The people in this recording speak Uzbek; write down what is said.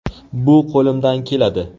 Bu qo‘limdan keladi.